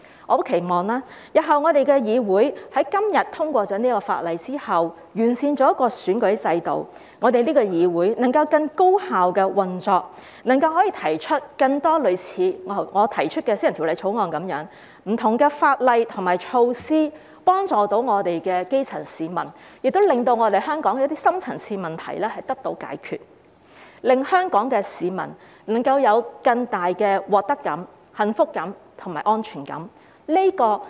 我十分期望，在通過今天的《條例草案》，完善選舉制度之後，日後這個議會能夠更高效運作，能夠提出更多類似我提出的私人法案，透過不同法例和措施幫助基層市民，令香港的深層次問題得到解決，令香港市民能夠有更大的獲得感、幸福感和安全感。